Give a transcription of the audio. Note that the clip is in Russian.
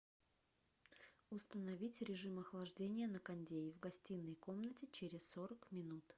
установить режим охлаждения на кондее в гостиной комнате через сорок минут